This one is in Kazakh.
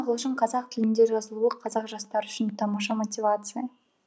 ағылшын қазақ тілінде жазылуы қазақ жастары үшін тамаша мотивация